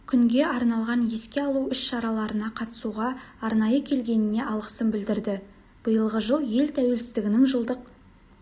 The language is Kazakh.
күнге арналған еске алу іс-шараларына қатысуға арнайы келгеніне алғысын білдірді биылғы жыл ел тәуелсіздігінің жылдық